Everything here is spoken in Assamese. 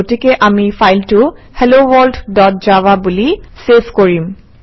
গতিকে আমি ফাইলটো হেলোৱৰ্ল্ড ডট জাভা বুলি চেভ কৰিম